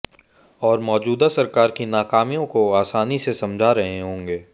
और मौजूदा सरकार की नाकामियों को आसानी से समझा रहे होगें